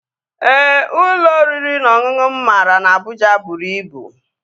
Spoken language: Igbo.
Ee, ụlọ oriri na ọṅụṅụ mụ mara na Abụja bụrụ ibu